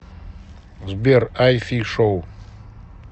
сбер ай фи шоу